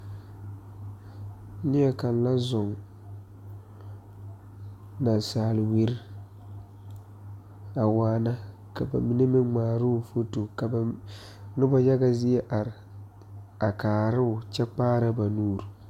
Neɛ kaŋ la zɔŋ naasaal wiri a waana ka mine meŋ ngmaaroo foto ka ba nobɔ yaga zie are a kaaroo kyɛ kpaara ba nuure.